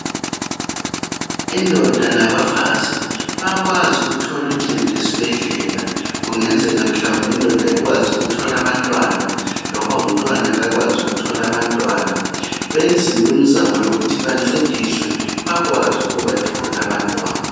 Indoda labafazi bayakwazi ukuthola uncedo esibhedlela. Kungenzeka mhlawumbe indoda kayikwazi ukuthola abantwana, loba umntwana kakwazi ukubathola abantwana. Benziwe imzamo yokuthi bancediswe. Bakwazi ukubathola abantwana,